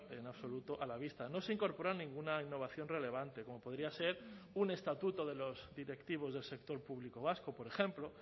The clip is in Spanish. en absoluto a la vista no se incorpora ninguna innovación relevante como podría ser un estatuto de los directivos del sector público vasco por ejemplo